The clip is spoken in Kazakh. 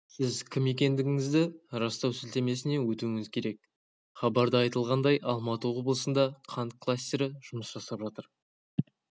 сіз кім екендігіңізді растау сілтемесіне өтуіңіз керек хабарда айтылғандай алматы облысында қант кластері жұмыс жасап жатыр